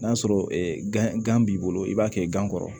N'a sɔrɔ gan b'i bolo i b'a kɛ gan kɔrɔ